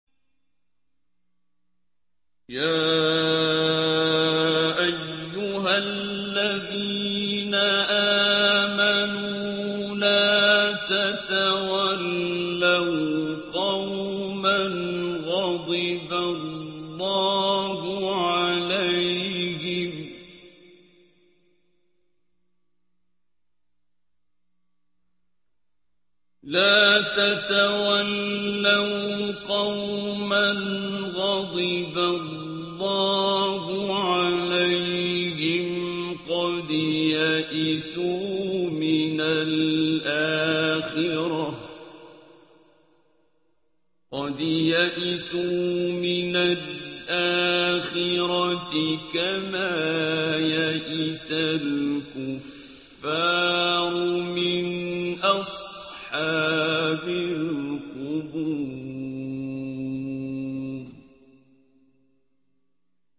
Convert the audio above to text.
يَا أَيُّهَا الَّذِينَ آمَنُوا لَا تَتَوَلَّوْا قَوْمًا غَضِبَ اللَّهُ عَلَيْهِمْ قَدْ يَئِسُوا مِنَ الْآخِرَةِ كَمَا يَئِسَ الْكُفَّارُ مِنْ أَصْحَابِ الْقُبُورِ